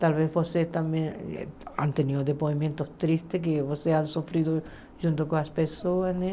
Talvez vocês também tenham tido depoimentos tristes que vocês têm sofrido junto com as pessoas, né?